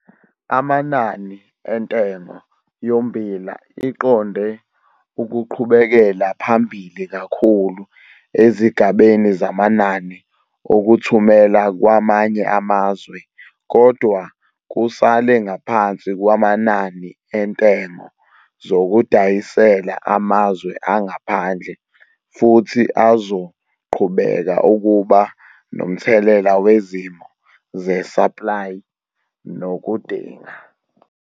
Amanani entengo yommbila iqonde ukuqhubekela phambili kakhulu ezigabeni zamanani okuthumela kwamanye amazwe kodwa kusale ngaphansi kwamanani entengo yokudayisela amazwe angaphandle futhi azoqhubeka ukuba nomthelela wezimo ze-supply nokudinga.